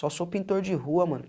Só sou pintor de rua, mano.